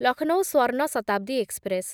Lucknow Swarna Shatabdi express